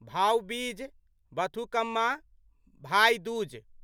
भाउ बीज बथुकम्मा भाइ दूज